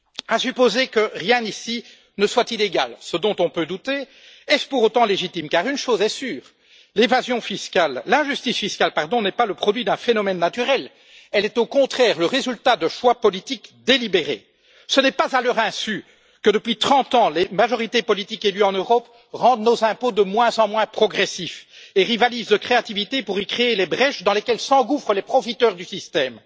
À supposer que rien ici ne soit illégal, ce dont on peut douter, est ce pour autant légitime? Car une chose est sûre, l'injustice fiscale n'est pas le produit d'un phénomène naturel, elle est au contraire le résultat de choix politiques délibérés. Ce n'est pas à leur insu que depuis 30 ans, les majorités politiques élues en Europe rendent nos impôts de moins en moins progressifs et rivalisent de créativité pour y créer les brèches dans lesquelles s'engouffrent les profiteurs du système.